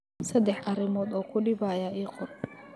Saddex arrimood oo ku dhibaya ii qor.